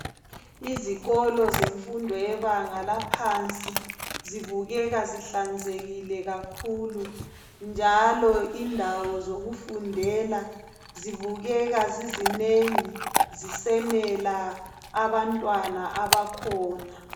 Izikolo zemfundo yebanga laphansi zibukeka zihlanzekile kakhulu njalo indawo zokufundela zibukeka zizinengi zisenela abantwana abakhona.